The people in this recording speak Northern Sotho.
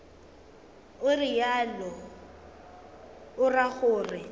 o realo o ra gore